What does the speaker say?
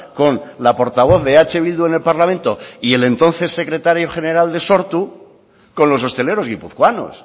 con la portavoz de eh bildu en el parlamento y el entonces secretario general de sortu con los hosteleros guipuzcoanos